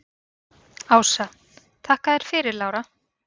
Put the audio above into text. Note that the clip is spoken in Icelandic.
Ása: Þakka þér fyrir Lára.